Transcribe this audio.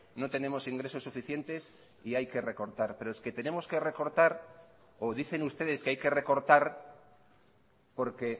no tenemos ingresos suficientes y hay que recortar pero es que tenemos que recortar o dicen ustedes que hay que recortar porque